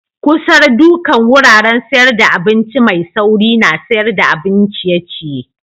Kusar dukan wuraren sayar da abinci mai sauri na sayar da abin ciye-ciye.